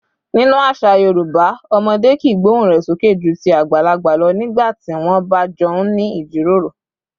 Nínú àṣà Yorùbá, ọmọdé kìí gbóhùn rẹ̀ sókè ju ti àgbàlagbà lọ nígbà tí wọ́n bá jọ ń ní ìjíròrò